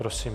Prosím.